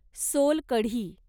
solkadhi